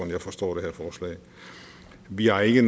jeg forstår det her forslag vi har ikke